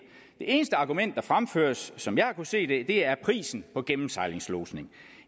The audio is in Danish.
eneste argument der fremføres som jeg har kunnet se det er prisen på gennemsejlingslodsning